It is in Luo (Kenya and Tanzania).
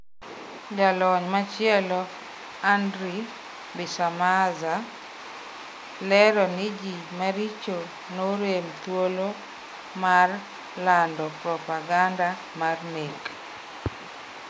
Jalony machielo, Andre Bisamaza, lero ni ji maricho norem thuolo mar lando propaganda mar nek.